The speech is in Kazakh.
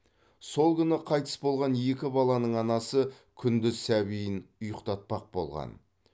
сол күні қайтыс болған екі баланың анасы күндіз сәбиін ұйықтатпақ болған